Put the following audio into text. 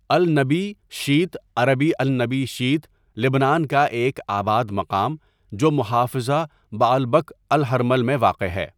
النبی شیت عربی النبي شيت لبنان کا ایک آباد مقام جو محافظہ بعلبک الہرمل میں واقع ہے.